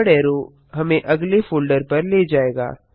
forward arrow हमें अगले folder पर ले जायेगा